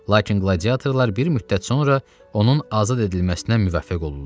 Lakin qladiatorlar bir müddət sonra onun azad edilməsinə müvəffəq olurlar.